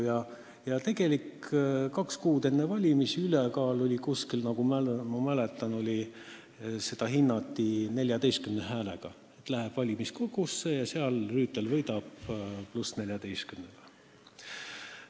Ja nagu ma mäletan, kaks kuud enne valimisi hinnati selleks ülekaaluks 14 häält, et asi läheb valimiskogusse ja Rüütel võidab seal pluss 14-ga.